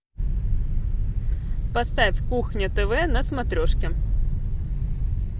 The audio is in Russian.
поставь кухня тв на смотрешке